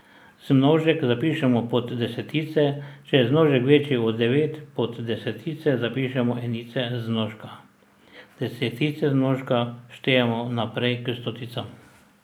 Zmnožek zapišemo pod desetice, če je zmnožek večji od devet, pod desetice zapišemo enice zmnožka, desetice zmnožka štejemo naprej k stoticam.